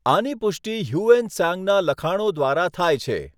આની પુષ્ટિ Hiuen ત્સાંગના લખાણો દ્વારા થાય છે.